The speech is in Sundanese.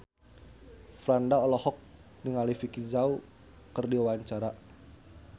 Franda olohok ningali Vicki Zao keur diwawancara